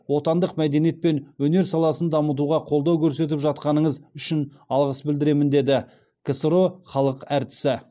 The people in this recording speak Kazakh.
отандық мәдениет пен өнер саласын дамытуға қолдау көрсетіп жатқаныңыз үшін алғыс білдіремін деді ксро халық әртісі